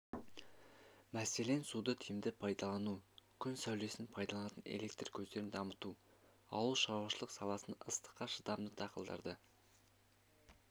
мәселен суды тиімді пайдалану күн сәулесін пайдаланатын электр көздерін дамыту ауыл шаруашылық саласында ыстыққа шыдамды дақылдарды